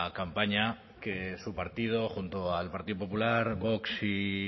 campaña que su partido junto al partido popular vox y